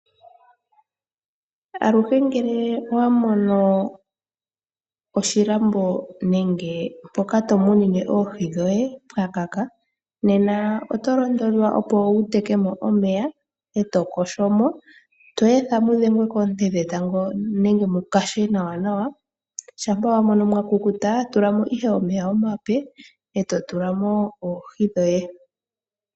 Aluhe ngele owa mono oshilambo nenge mpoka tomunine oohi dhoye pwaluudha nena oto londodhwa opo wuteke mo omeya eto yogo mo eto etha mudhengwe koonte dhetango nenge mukukute nawa nawa ngele owa mono mwa kukuta tulamo ihe omeya omape etotulamo oohi dhoye.